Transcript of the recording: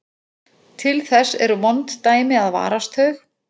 Til þess eru vond dæmi að varast þau.